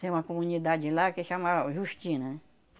Tem uma comunidade lá que chama Justina, né?